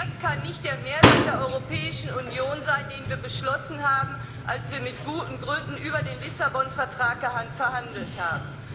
Das kann nicht der Mehrwert der Europäischen Union sein, den wir beschlossen haben, als wir mit guten Gründen über den Lissabon Vertrag verhandelt haben.